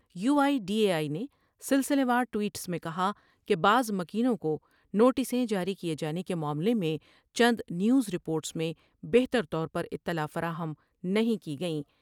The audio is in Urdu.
You I D A I نے سلسلہ وار ٹوئٹس میں کہا کہ بعض مکینوں کو نوٹسیں جاری کیے جانے کے معاملہ میں چند نیوز رپورٹس میں بہتر طور پر اطلاع فراہم نہیں کی گئیں ۔